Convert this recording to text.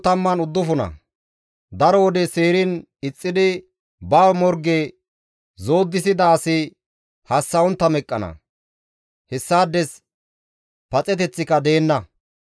Daro wode seeriin ixxidi ba morge zoodisida asi hassa7ontta meqqana; hessaades paxeteththika deenna.